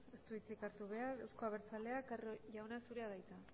ez du hitzik hartu behar euzko abertzaleak carro jauna zurea da hitza